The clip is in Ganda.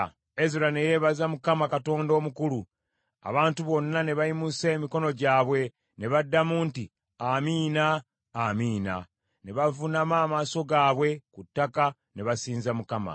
Ezera ne yeebaza Mukama Katonda omukulu; abantu bonna ne bayimusa emikono gyabwe ne baddamu nti, “Amiina! Amiina!” Ne bavuunama amaaso gaabwe ku ttaka ne basinza Mukama .